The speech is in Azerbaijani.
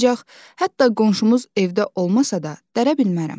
Ancaq hətta qonşumuz evdə olmasa da dərə bilmərəm.